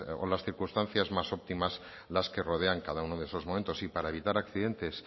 o las circunstancias más óptimas las que rodean cada uno de esos momentos y para evitar accidentes